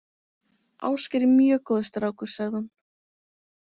Ásgeir er mjög góður strákur, sagði hún.